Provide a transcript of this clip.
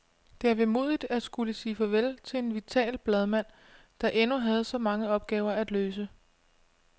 Det er vemodigt at skulle sige farvel til en vital bladmand, der endnu havde så mange opgaver at løse.